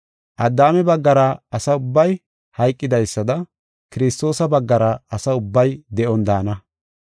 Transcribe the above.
Addaame baggara asa ubbay hayqidaysada Kiristoosa baggara asa ubbay de7on daana.